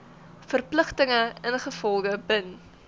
verpligtinge ingevolge bin